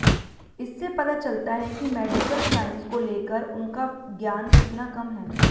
इससे पता चलता है कि मेडिकल साइंस को लेकर उनका ज्ञान कितना कम है